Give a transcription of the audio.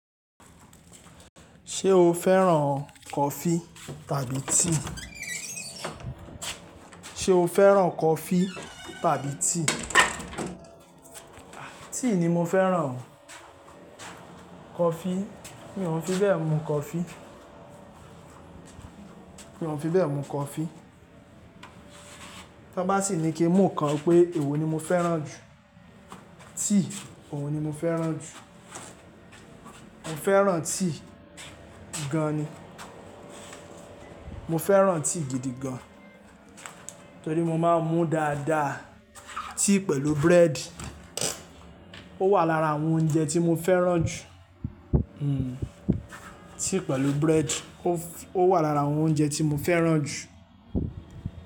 Ṣé o fẹ́ràn coffee tàbí tea? Ṣé o fẹ́ràn coffee tàbí tea? Tea ni mo fẹ́ràn. Coffee, mí ò fi bẹ́ẹ̀ mu coffee. Mí ò fi bẹ́ẹ̀ mu coffee. Tọ bá sì ní kí n mú ọ kan pé èwo ni mo fẹ́ràn jù? Tea, òun ni mo fẹ́ràn jù. Mo fẹ́ràn tea gan ni. Mo fẹ́ràn tea gidi gan. Torí mo máa ń mú dáadáa tea pẹ̀lú bread. Ó wà lára àwọn oúnjẹ tí mo fẹ́ràn jù. Hmm tea pẹ̀lú bread ó wà lára àwọn oúnjẹ tí mo fẹ́ràn jù.